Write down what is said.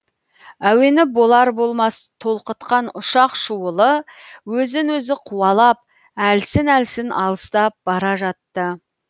әуені болар болмас толқытқан ұшақ шуылы өзін өзі қуалап әлсін әлсін алыстап бара жатты